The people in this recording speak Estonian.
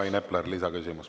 Rain Epler, lisaküsimus, palun!